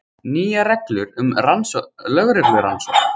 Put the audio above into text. Nýjar reglur um lögreglurannsókn